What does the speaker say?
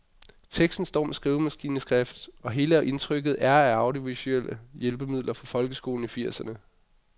Teksten står med skrivemaskineskrift, og hele indtrykket er af audiovisuelle hjælpemidler fra folkeskolen i firserne.